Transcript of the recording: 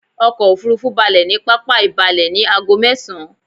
Ọkò òfurufú balẹ̀ ní pápá ìbalẹ ní ago mẹ́esan